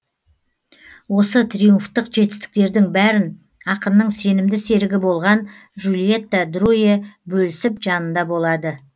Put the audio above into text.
осы триумфтық жетістіктердің бәрін ақынның сенімді серігі болған жюльетта друэ бөлісіп жанында болады